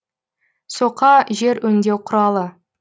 соқа жер өңдеу құралы